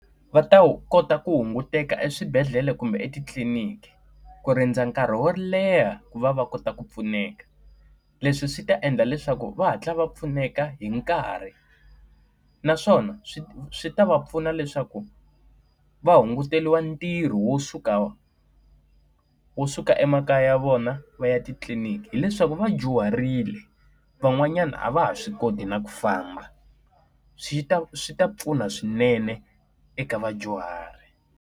Va ta wu kota ku hunguteka eswibedhlele kumbe etitliliniki, ku rindza nkarhi wo leha ku va va kota ku pfuneka. Leswi swi ta endla leswaku va hatla va pfuneka hi nkarhi naswona swi swi ta va pfuna leswaku va hunguteriwa ntirho wo suka wo suka emakaya ya vona va ya titliniki. Hileswaku va dyuharile, van'wanyana a va ha swi koti na ku famba. Swi ta swi ta pfuna swinene eka vadyuhari.